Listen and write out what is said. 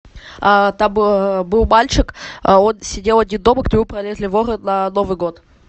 там был мальчик он сидел один дома к нему пролезли воры на новый год